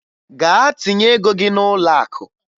Gaa tinye ego gị n'ụlọakụ!